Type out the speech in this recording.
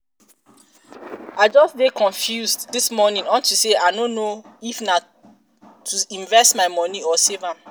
i just dey confused dis morning unto say i no know if na know if na to invest my money or save am